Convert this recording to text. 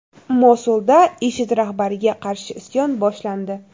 Mosulda IShID rahbariga qarshi isyon boshlandi.